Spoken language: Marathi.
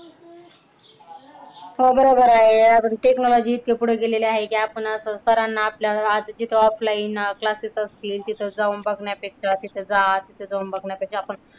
हो बरोबर आहे पण technology इतक्या पुढे गेली आहे कि आपण असं सरांना आपल्या राहतो तिथ offline classes असतील तिथ जाऊन बघण्यापेक्षा तिथे जा तिथे जाऊन बघण्यापेक्षा आपण,